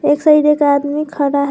एक साइड एक आदमी खड़ा है।